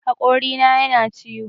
Haƙorina yana ciwo